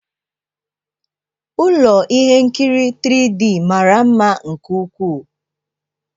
Ụlọ ihe nkiri 3D mara mma nke ukwuu.